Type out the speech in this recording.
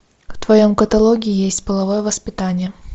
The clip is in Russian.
в твоем каталоге есть половое воспитание